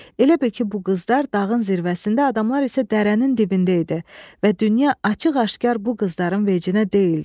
Elə bil ki, bu qızlar dağın zirvəsində, adamlar isə dərənin dibində idi və dünya açıq-aşkar bu qızların vecinə deyildi.